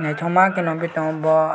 naithomakhe nukgui tongo bo.